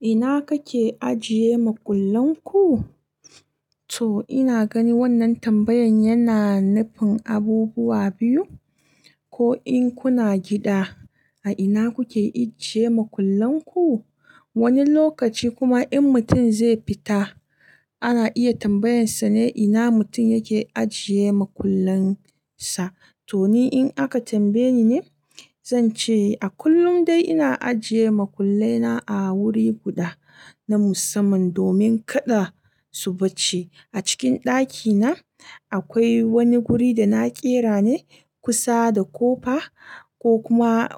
Ina kake ajiye makullan ku? To ina gani wannan tambayan yana nufin abubuwa biyu. Ko in kuna gida, a ina kuke ijiye makullan ku? Wani lokaci kuma in mutum zai fita ana iya tambayansa ne ina mutum yake ajiye makullansa. To ni in aka tambaye ni ne, zan ce a kullum dai ina ajiye makullena a wuri guda na musamman domin kada su ɓace. A cikin ɗakina akwai wani wuri da na ƙera ne kusa da kofa ko kuma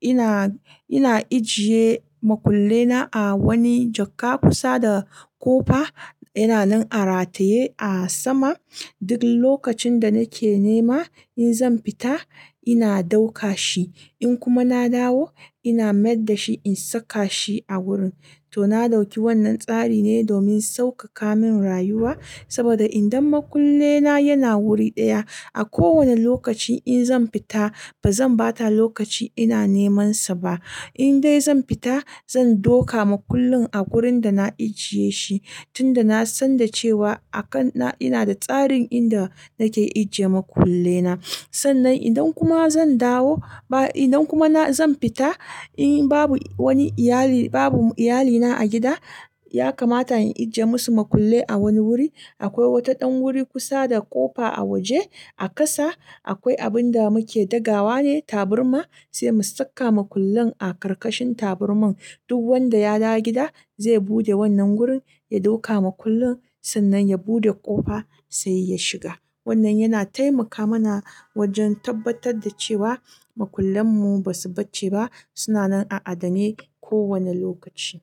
ina, ina ijiye makullena a wani jakka kusa da kofa yana nan a rataye a sama. Duk lokacin da nake nema in zan fita ina ɗauka shi. In kuma na dawo ina maida shi in saka shi a wurin. To na ɗauki wannan tsari ne domin saukaka min rayuwa. Saboda idan makullena yana wuri ɗaya a kowane lokaci in zan fita ba zan bata lokaci ina neman sa ba. In dai zan fita zan ɗauka makullin a wurin da na ajiye shi. Tunda na san da cewa a kan na ina da tsarin inda nake ijiye makullena. Sannan idan kuma zan dawo ba idan kuma na zan fita, in babu wani iyali babu iyalina a gida, ya kamata in ijiye musu makullai a wani wuri. Akwai wata ɗan wuri kusa da ƙofa a waje a ƙasa akwai abun da muke dagawa ne tabarma, sai mu saka makullin a ƙarƙashin tabarman. Duk wanda ya dawo gida zai buɗe wannan wurin, ya ɗauka makullin sannan ya buɗe ƙofa sai ya shiga. Wannan yana taimaka mana wajen tabbatar da cewa makullanmu ba su ɓace ba suna nan a adane kowane lokaci.